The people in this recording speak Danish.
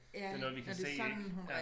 Det er noget vi kan se ik